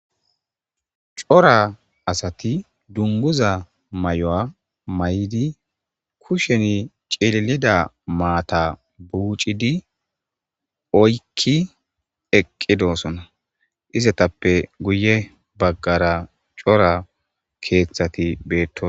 cora asati duniguza mayuwa mayid kushen cililida maata buucidi oykki eqqidosona istetappe guye baggara cora keeththati beettos